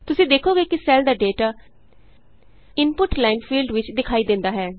ਤੁਸੀਂ ਦੇਖੋਗੇ ਕਿ ਸੈੱਲ ਦਾ ਡੇਟਾ ਇਨਪੁਟ ਲਾਈਨ ਫੀਲਡ ਵਿਚ ਦਿਖਾਈ ਦਿੰਦਾ ਹੈ